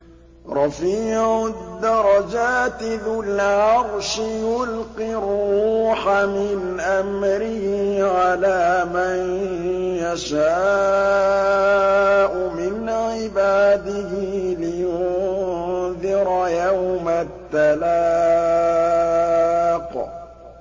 رَفِيعُ الدَّرَجَاتِ ذُو الْعَرْشِ يُلْقِي الرُّوحَ مِنْ أَمْرِهِ عَلَىٰ مَن يَشَاءُ مِنْ عِبَادِهِ لِيُنذِرَ يَوْمَ التَّلَاقِ